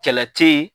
Kɛlɛ te ye